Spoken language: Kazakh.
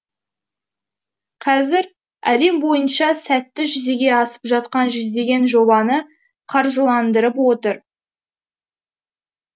қазір әлем бойынша сәтті жүзеге асып жатқан жүздеген жобаны қаржыландырып отыр